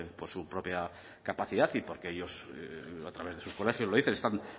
por su propia capacidad y porque ellos a través de sus colegios lo dicen están